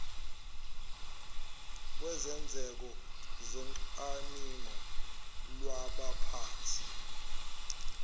kwezenzeko zocwaningo lwabaphathi